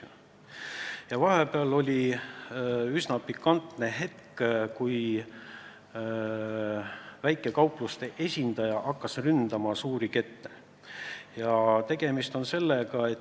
Ühel hetkel tekkis üsna pikantne olukord, sest väikekaupluste esindaja hakkas ründama suuri kette.